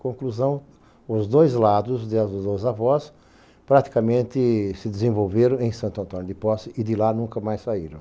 Conclusão, os dois lados, de os dois avós, praticamente se desenvolveram em Santo Antônio de Posse e de lá nunca mais saíram.